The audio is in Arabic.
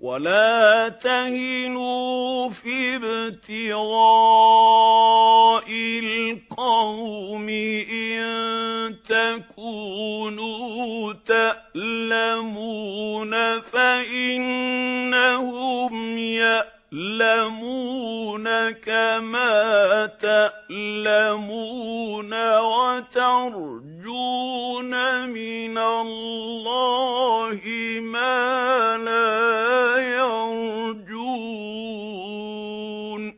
وَلَا تَهِنُوا فِي ابْتِغَاءِ الْقَوْمِ ۖ إِن تَكُونُوا تَأْلَمُونَ فَإِنَّهُمْ يَأْلَمُونَ كَمَا تَأْلَمُونَ ۖ وَتَرْجُونَ مِنَ اللَّهِ مَا لَا يَرْجُونَ ۗ